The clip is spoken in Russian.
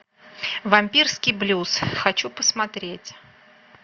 вампирский блюз хочу посмотреть